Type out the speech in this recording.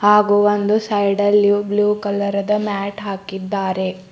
ಹಾಗು ಒಂದು ಸೈಡಲ್ಲಿ ಬ್ಲೂ ಕಲರ್ ಅದ ಮ್ಯಾಟ್ ಹಾಕಿದ್ದಾರೆ.